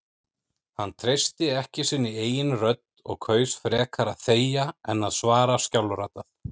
Hann treysti ekki sinni eigin rödd og kaus frekar að þegja en að svara skjálfraddað.